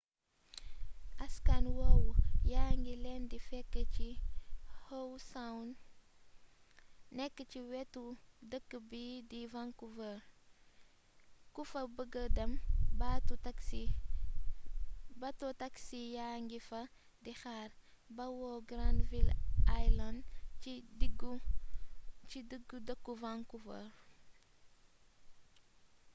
askan woowu yaa ngi leen di fekk ci howe sound nekk ci wetu dëkk bii di vancouver ku fa bëgga dem bato taxi yaa ngi fa di xaar bawoo granville island ci diggu dëkku vancouver